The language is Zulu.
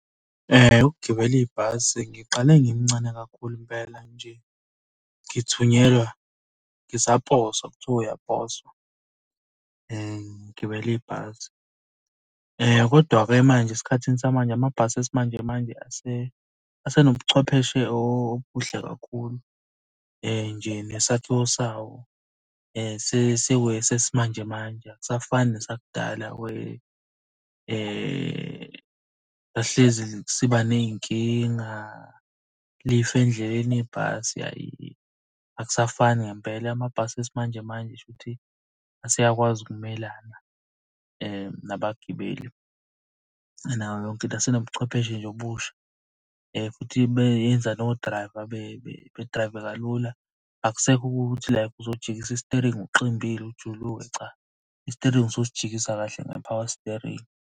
Ukugibela ibhasi ngiqale ngimncane kakhulu impela nje, ngithunyelwa ngisaposwa kuthiwa uyaposwa. Ngigibela ibhasi, kodwa-ke manje esikhathini samanje, amabhasi esimanje manje asenobuchwepheshe obuhle kakhulu. Nje nesakhiwo sawo sesiwesimanje manje akusafani nasakudala where sasihlezi siba ney'nkinga, lifa endleleni ibhasi, hhayi akusafani ngempela. Amabhasi esimanjemanje shuthi aseyakwazi ukumelana nabagibeli nayo yonke into. Asenobuchwepheshe nje obusha futhi beyenza no-driver bedrayive kalula. Akusekho ukuthi like uzojikisa isiteringi uqimbile ujuluke, cha. Isiteringi ususijikisa kahle nge-power steering.